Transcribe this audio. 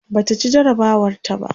Bata ci jarabawar ta ba